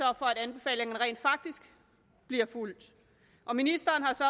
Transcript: at anbefalingerne rent faktisk bliver fulgt og ministeren har så